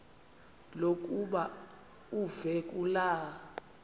lokuba uve kulaa